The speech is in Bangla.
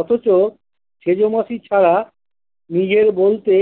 অথচ সেজ মাসি ছাড়া নিজের বলতে